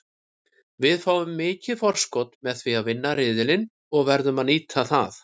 Við fáum mikið forskot með því að vinna riðilinn og verðum að nýta það.